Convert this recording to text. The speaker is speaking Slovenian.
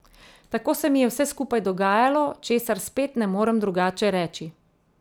Tako se mi je vse skupaj dogajalo, česar spet ne morem drugače reči.